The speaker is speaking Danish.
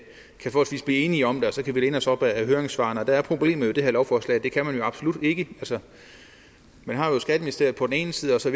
blive enige om det og så kan vi læne os op ad høringssvarene og der er problemet med det her lovforslag at det kan man jo absolut ikke man har skatteministeriet på den ene side og så